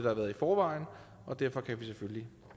har været i forvejen og derfor kan vi selvfølgelig